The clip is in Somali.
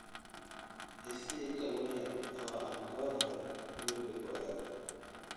I sii kalluun yar oo aan goor hore guriga ku aado